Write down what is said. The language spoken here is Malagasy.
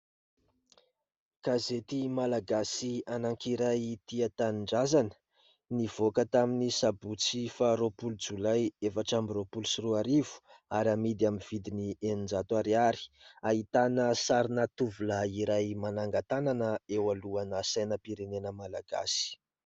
Gazety malagasy anankiray Tia Tanindrazana, nivoaka tamin'ny sabotsy faha roapolo jolay efatra amby roapolo sy roa arivo ary amidy amin'ny vidiny eninjato ariary. Ahitana sarina tovolahy iray manangan-tànana eo alohana sainam-pirenena malagasy.